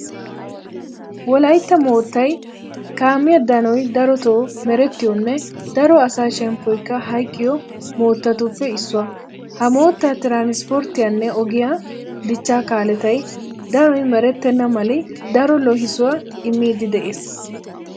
Wolaytta moottay kaamiya danoy darotoo merettiyonne daro asaa shemppoykka hayqqiyo moottatuppe issuwa. Ha moottaa tiranspporttiyanne ogiya dichchaa kaaletay danoy merettenna mal daro loihissuwa immiiddi de'ees.